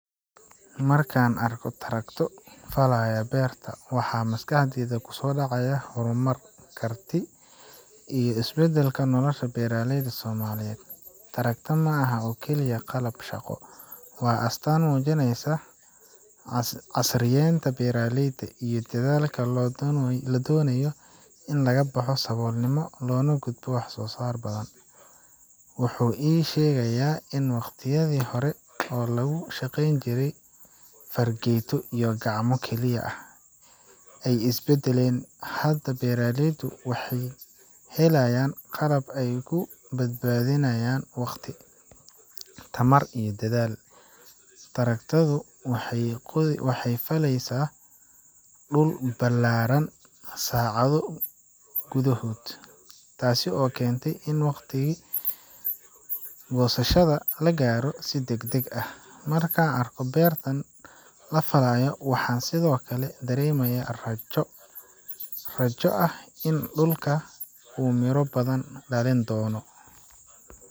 Marka aan arko tractor falaaya beer, waxaa maskaxdayda kusoo dhacaya horumar, kartida iyo isbeddelka nolosha beeraleyda Soomaaliyeed. tractor ma aha oo keliya qalab shaqo, waa astaan muujinaysa casriyeynta beeraleyda iyo dadaalka lagu doonayo in laga baxo saboolnimo loona gudbo wax soo saar badan. Wuxuu ii sheegayaa in waqtiyadii hore ee lagu shaqeyn jiray fargeeto iyo gacmo keliya ay is beddeleen, hadda beeraleydu waxay helayaan qalab ay ku badbaadiyaan waqti, tamar iyo dadaal. tractor[cs wuxuu faleysaa dhul ballaaran saacado gudahood, taas oo keenta in waqtigii goosashada la gaaro si degdeg ah. Markaan arko beertan la falaayo, waxaan sidoo kale dareemayaa rajo rajo ah in dhulkaan uu miro badan dhalin doono,